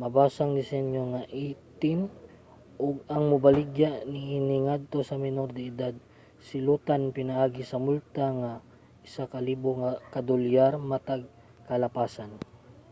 mabasang disenyo nga 18 ug ang mobaligya niini ngadto sa menor de edad silotan pinaagi sa multa nga $1000 matag kalapasan